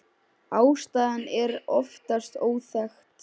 Ástæðan er oftast óþekkt.